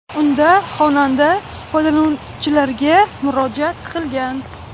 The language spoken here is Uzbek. Unda xonanda foydalanuvchilarga murojaat qilgan.